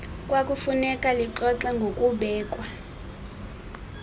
kwakufuneka lixoxe ngokubekwa